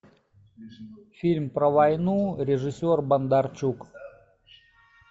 фильм про войну режиссер бондарчук